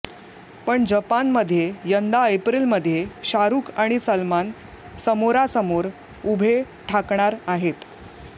पण जपानमध्ये यंदा एप्रिलमध्ये शाहरुख आणि सलमान समोरा समोर उभे ठाकणार आहेत